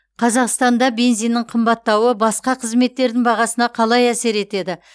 қазақстанда бензиннің қымбаттауы басқа қызметтердің бағасына қалай әсер етеді